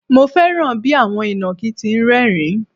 Mo fẹ́ràn bí àwọn ìnàkí ti ń rẹ́ẹ̀rín.